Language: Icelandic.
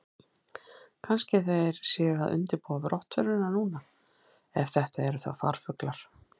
Kannski þeir séu að undirbúa brottförina núna, ef þetta eru þá farfuglar.